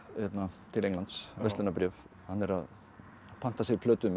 til Englands verslunarbréf hann er að panta sér plötu með